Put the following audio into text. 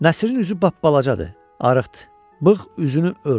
Nəsrin üzü bapbalacadır, arıqdır, bığ üzünü örtüb.